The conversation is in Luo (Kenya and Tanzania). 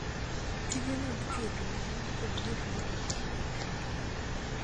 Tije mag chwo gi mon kod wuoth mar oganda e piny Kenya